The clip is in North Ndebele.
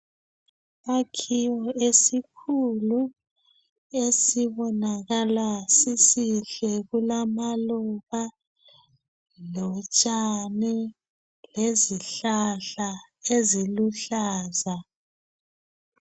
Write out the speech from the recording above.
Isakhiwo esikhulu esibonakala sisihle. Kulamaluba, utshani lezihlahla eziluhlaza.